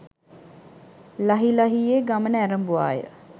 ලහි ලහියේ ගමන ඇරඹුවාය.